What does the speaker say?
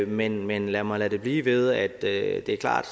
men men lad mig lade det blive ved at det er klart